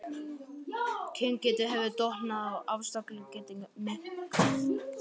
Kyngeta hefur dofnað og afkastagetan minnkað.